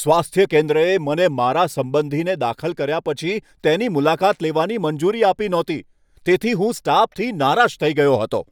સ્વાસ્થ્ય કેન્દ્રએ મને મારા સંબંધીને દાખલ કર્યા પછી તેની મુલાકાત લેવાની મંજૂરી આપી નહોતી. તેનાથી હું સ્ટાફથી નારાજ થઈ ગયો હતો.